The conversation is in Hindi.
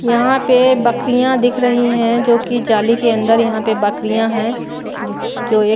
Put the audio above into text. यहां पे बकरियां दिख रही हैं जो कि जाली के अंदर यहां पे बकरियां हैं जिस जो एक--